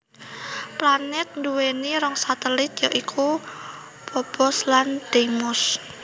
Planèt nduwèni rong satelit ya iku Phobos lan Deimos